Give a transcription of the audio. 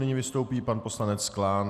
Nyní vystoupí pan poslanec Klán.